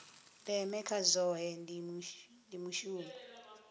ndeme kha zwohe ndi mushumo